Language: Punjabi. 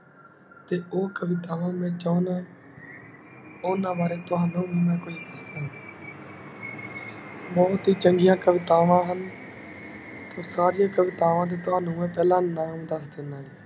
ਤੇ ਊ ਕਵਿਤਾਵਾਂ ਮੈਂ ਚਾਉਂਦਾ ਏ ਉਨ੍ਹਾਂ ਬਾਰੇ ਬਹੁਤ ਹੀ ਚੰਗੀਆਂ ਕਵਿਤਾਵਾਂ ਹਨ ਤੇ ਸਾਰੀਆਂ ਕਵਿਤਾਵਾਂ ਦੇ ਤਵਣੁ ਮੈਂ ਪਹਿਲਾ ਨਾਮ ਦਸ ਦੀਨਾ ਹੈ